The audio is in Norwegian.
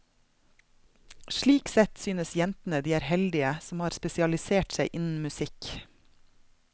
Slik sett synes jentene de er heldige som har spesialisert seg innen musikk.